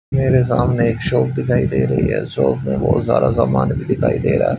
मेरे सामने एक शॉप दिखाई दे रही है शॉप में बहुत सारा सामान भी दिखाई दे रहा--